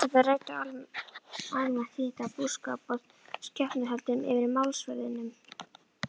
Prestarnir ræddu almælt tíðindi af búskap og skepnuhöldum yfir málsverðinum.